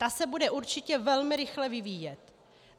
Ta se bude určitě velmi rychle vyvíjet.